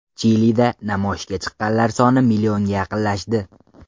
Chilida namoyishga chiqqanlar soni millionga yaqinlashdi.